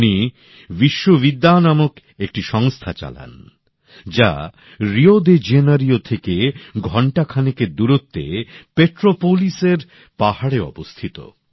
উনি বিশ্ববিদ্যা নামক একটি সংস্থা চালান যা রিও ডি জেনিরো থেকে ঘণ্টাখানেকের দূরত্বে পেট্রোপোলিসের পাহাড়ে অবস্থিত